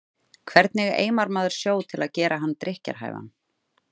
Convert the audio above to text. Hvernig eimar maður sjó til að gera hann drykkjarhæfan?